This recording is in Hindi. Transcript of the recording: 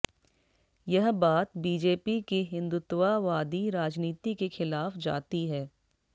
यह बात बीजेपी की हिंदुत्ववादी राजनीति के खिलाफ जाती है